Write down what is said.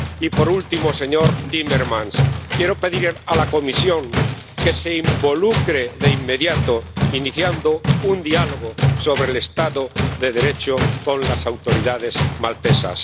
Y, por último, señor Timmermans, quiero pedir a la Comisión que se involucre de inmediato iniciando un diálogo sobre el Estado de Derecho con las autoridades maltesas.